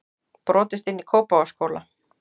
Brotist inn í Kópavogsskóla